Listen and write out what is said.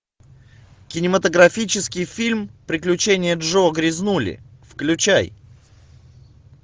кинематографический фильм приключения джо грязнули включай